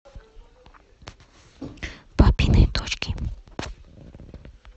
папины дочки